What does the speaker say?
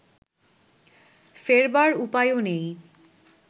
ফেরবার উপায়ও নেই